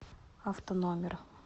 автономер